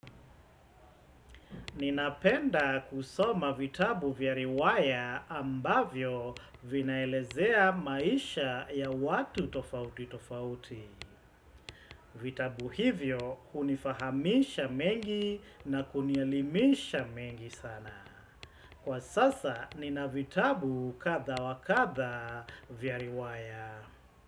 Ninapenda kusoma vitabu vya riwaya ambavyo vinaelezea maisha ya watu tofauti tofauti. Vitabu hivyo hunifahamisha mengi na kunielimisha mengi sana. Kwa sasa, nina vitabu kadha wa kadha vya riwaya.